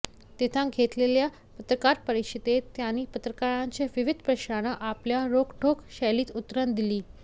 तिथं घेतलेल्या पत्रकार परिषदेत त्यांनी पत्रकारांच्या विविध प्रश्नांना आपल्या रोखठोक शैलीत उत्तरं दिली